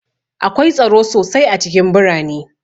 Akwai tsaro sosai a cikin birane